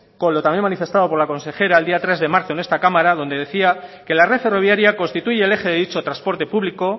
con lo también manifestado con la consejera el día tres de marzo en esta cámara donde decía que la red ferroviaria constituye el eje de dicho transporte público